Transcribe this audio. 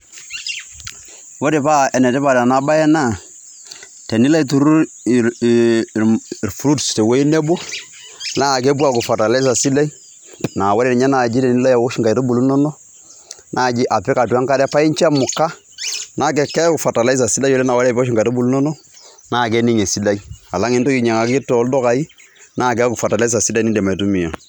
Ore paa enetipat ena bae naa, tenilo aiturrur ir(fruits) tewuoi nebo, naa kepuo aaaku fertilizer sidai, naa ore tenilo aosh intaitubulu inono, apik atua enkare paa incho emuka, naa keeku fertilizer sidai oleng' naa teniosh inkaitubulu inono, naa kening' esidai alang' tenintoki ainyang'aki tooldukai, naa keeku fertilizer sidai niindim aitumia.